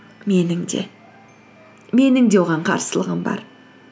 менің де менің де оған қарсылығым бар